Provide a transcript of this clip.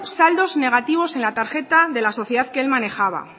saldos negativos en la tarjeta de la sociedad que él manejaba